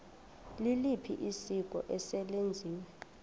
liliphi isiko eselenziwe